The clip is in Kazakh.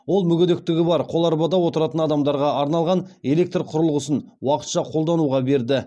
ол мүгедектігі бар қоларбада отыратын адамдарға арналған электр құрылғысын уақытша қолдануға берді